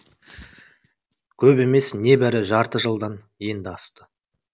көп емес небәрі жарты жылдан енді асты